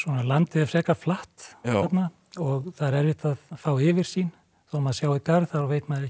landið er frekar flatt þarna og það er erfitt að fá yfirsýn þó maður sjái garð þá veit maður ekki